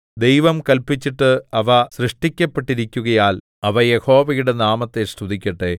ദൈവം കല്പിച്ചിട്ട് അവ സൃഷ്ടിക്കപ്പെട്ടിരിക്കുകയാൽ അവ യഹോവയുടെ നാമത്തെ സ്തുതിക്കട്ടെ